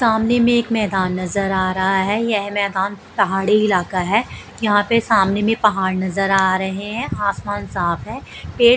सामने में एक मैदान नजर आ रहा है यह मैदान पहाड़ी इलाका है यहां पे सामने में पहाड़ नजर आ रहे हैं आसमान साफ ये--